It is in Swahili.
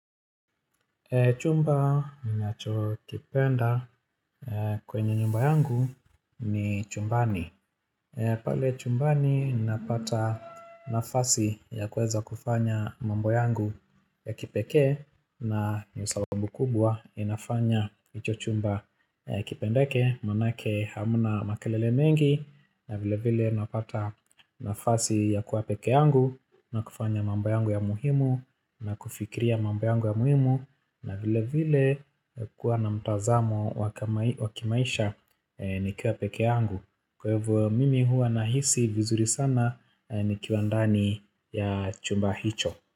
Chumba ninacho kipenda kwenye nyumba yangu ni chumbani pale chumbani ninapata nafasi ya kueeza kufanya mambo yangu ya kipekee na ndio sababu kubwa inafanya hicho chumba kipendeke maanake hamna makelele mengi na vile vile napata nafasi ya kuwa peke yangu na kufanya mambo yangu ya muhimu na kufikiria mambo yangu ya muhimu na vile vile kuwa na mtazamo waka wakimaisha nikiwa peke yangu kwa hivo mimi huwa nahisi vizuri sana nikiwa ndani ya chumba hicho.